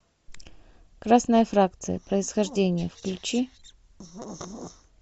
красная фракция происхождение включи